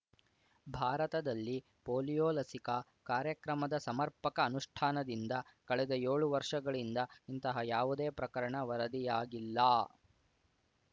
ಭಾರತದಲ್ಲಿ ಪೋಲಿಯೊ ಲಸಿಕಾ ಕಾರ್ಯಕ್ರಮದ ಸಮರ್ಪಕ ಅನುಷ್ಠಾನದಿಂದ ಕಳೆದ ಯೋಳು ವರ್ಷಗಳಿಂದ ಇಂತಹ ಯಾವುದೇ ಪ್ರಕರಣ ವರದಿಯಾಗಿಲ್ಲ